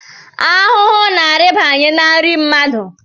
Ahụhụ na-arịbanye n’nri mmadụ